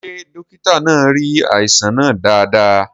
Ṣé dókítà náà rí àìsàn náà dáadáa?